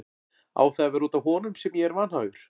Á það að vera út af honum sem ég er vanhæfur?